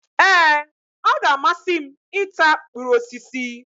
Ee! Ọ g'amasị m i ta mkpụrụ osisi.